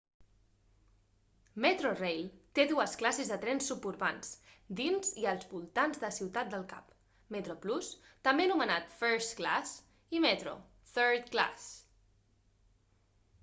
metrorail té dues classes de trens suburbans dins i als voltants de ciutat del cap: metroplus també anomenat first class i metro third class